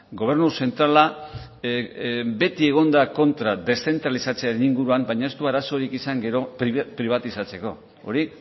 gobernu zentrala beti egon da kontra deszentralizatzearen inguruan baina ez du arazorik izan gero pribatizatzeko hori